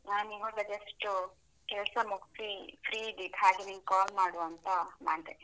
ನಾನು ಇವಾಗ just ಕೆಲ್ಸ ಮುಗ್ಸಿ, free ಇದ್ದಿದ್, ಹಾಗೆ ನಿನ್ಗೆ call ಮಾಡುವ ಅಂತ ಮಾಡ್ದೆ.